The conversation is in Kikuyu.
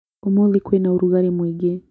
Ũmũthĩ kwĩna ũrugarĩ mũingĩ